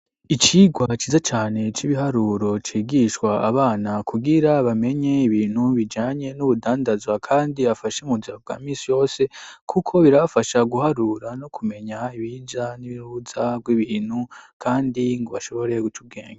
Icigwa ciza cane c'ibiharuro cigishwa abana kugira bamenye ibintu bijanye n'ubudandazwa kandi bobafasha mu buzima bwa misi yose kuko birafasha guharura no kumenya ibiza n'uruza bw'ibintu kandi ngo bashobore gucubwenga.